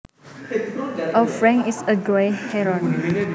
A frank is a grey heron